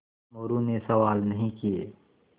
मोरू ने सवाल नहीं किये